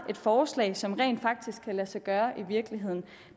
et forslag som rent faktisk kan lade sig gøre i virkeligheden